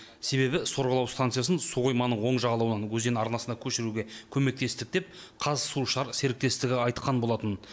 себебі сорғылау станциясын су қойманың оң жағалауынан өзен арнасына көшіруге көмектестік деп қазсушар серіктестігі айтқан болатын